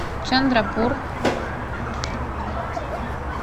чандрапур